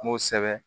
K'o sɛbɛ